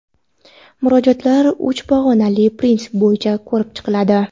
Murojaatlar uch pog‘onali prinsip bo‘yicha ko‘rib chiqiladi.